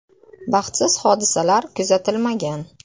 Baxtsiz hodisalar kuzatilmagan.